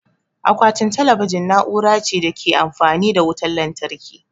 Akwatin talabijin na'ura ce da ta Ke amfani da wutan lantarki